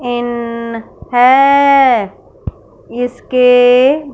इन हैं इसके--